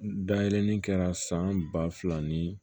Dayɛlɛlen kɛra san ba fila ni